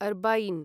अर्बईन्